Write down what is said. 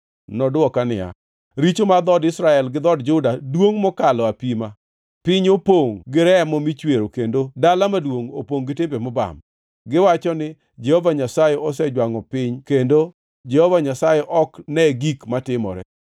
Nodwoka niya, “Richo mar dhood Israel gi dhood Juda duongʼ mokalo apima; piny opongʼ gi remo michwero kendo dala maduongʼ opongʼ gi timbe mobam. Giwacho ni, ‘Jehova Nyasaye osejwangʼo piny kendo; Jehova Nyasaye ok ne gik matimore.’